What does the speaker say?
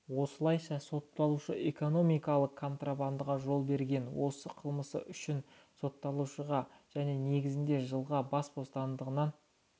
осылайша сотталушы экономикалық контрабандаға жол берген осы қылмысы үшін сотталушыға және негізінде жылға бас бостандығынан